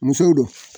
Musow do